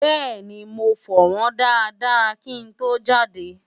bẹ́ẹ̀ni, mo fọ̀ wọ́ñ dáadáá kí n tó jáde